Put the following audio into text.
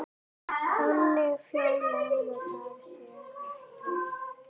Þannig fjölgar það sér ekki.